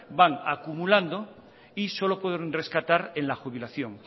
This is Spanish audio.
van acumulando y solo pueden rescatar en la jubilación